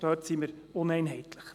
Dort sind wir uneinheitlich.